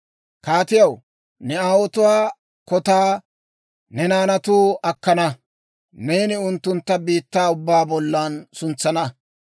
Kaatiyaw, ne aawotuwaa kotaa ne naanatuu akkana. Neeni unttuntta biittaa ubbaa bollan suntsana.